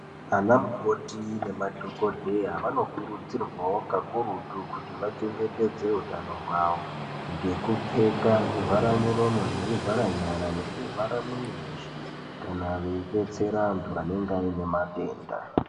Ana mukoti nemadhokodheya vanokurudzirwawo kakurutu kuti vachengetedze utano hwawo ngekupfeka zvivharamuromo nezvivhara nyara nezvivhara mwiri weshe kana veidetsera antu anenenge aine matenda.